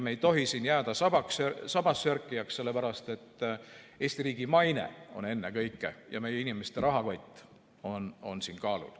Me ei tohi jääda sabassörkijaks, sellepärast et ennekõike on siin kaalul Eesti riigi maine ja meie inimeste rahakott.